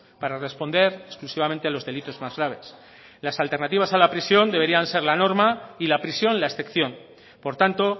para responder exclusivamente a los delitos más graves las alternativas a la prisión deberían ser la norma y la prisión la excepción por tanto